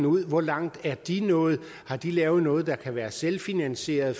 ud hvor langt er de nået har de lavet noget der kan være selvfinansierende